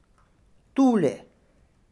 Tuli!